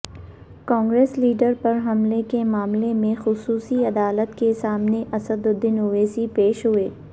Congress leader پر حملے کے معاملے میں خصوصی عدالت کے سامنے اسدالدین اویسی پیش ہوئے